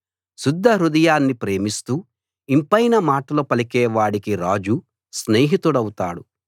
శుద్ధ హృదయాన్ని ప్రేమిస్తూ ఇంపైన మాటలు పలికే వాడికి రాజు స్నేహితుడౌతాడు